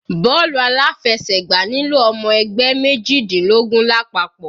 Bọ́ọ̀lù aláfẹsẹ̀gbá nílò ọmọ ẹgbẹ́ mejidinlogun lápapọ̀.